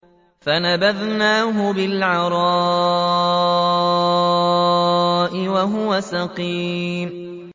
۞ فَنَبَذْنَاهُ بِالْعَرَاءِ وَهُوَ سَقِيمٌ